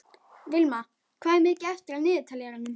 Vilma, hvað er mikið eftir af niðurteljaranum?